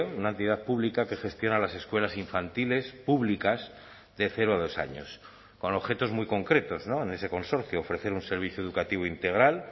una entidad pública que gestiona las escuelas infantiles públicas de cero a dos años con objetos muy concretos en ese consorcio ofrecer un servicio educativo integral